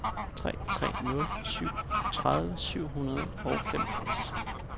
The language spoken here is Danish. tre tre nul syv treogtredive syv hundrede og femogfirs